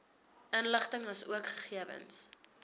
inligting asook gegewens